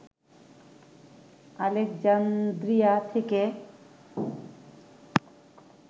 Alexandria থেকে